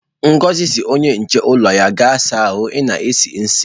Ngozi si onye nche ulo ya,"gaa saa ahu, i na-esi isi"!